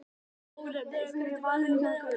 Ónafngreindur maður: Hvað gerði mamman?